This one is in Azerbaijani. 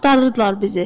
Axtarırdılar bizi.